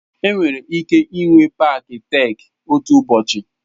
Enwere ike ịnwe paaki Tek otu ụbọchị.